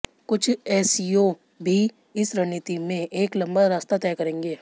कुछ एसईओ भी इस रणनीति में एक लंबा रास्ता तय करेंगे